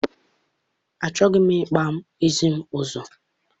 Achọghị m ịkpaa isi m ọzọ.